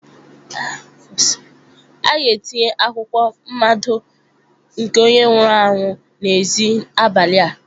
A ga-etinye akwụkwọ mmado nke onye nwụrụ anwụ n'èzí abalị a.